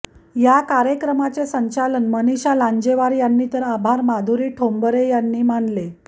या कार्यक्रमाचे संचालन मनिषा लांजेवार यांनी तर आभार माधुरी ठोंबरे यांनी मानले